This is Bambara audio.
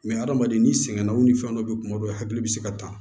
hadamaden n'i sɛgɛn na u ni fɛn dɔ be kuma dɔ la hakili be se ka ta